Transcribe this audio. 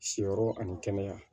Siyɔrɔ ani kɛnɛya